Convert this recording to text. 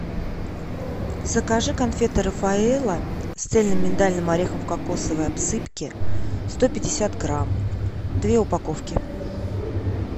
закажи конфеты рафаэлло с цельным миндальным орехом в кокосовой обсыпке сто пятьдесят грамм две упаковки